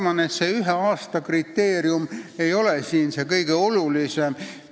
Ma arvan, et see vähemalt ühe aasta tingimus ei ole kõige olulisem.